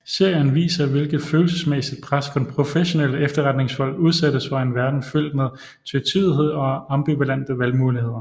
Serien viser hvilket følelsesmæssigt pres professionelle efterretningsfolk udsættes for i en verden fyldt med tvetydighed og ambivalente valgmuligheder